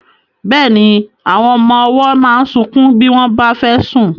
Bẹ́ẹ̀ni, àwọn ọmọ ọwọ́ máa ń sunkún bí wọ́n bá fẹ́ sùn.